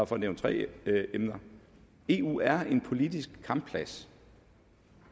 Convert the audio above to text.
for at nævne tre emner eu er en politisk kampplads